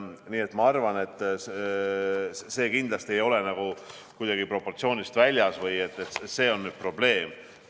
Nii et ma arvan, et see kindlasti ei ole kuidagi proportsioonist väljas või et see on nüüd probleem.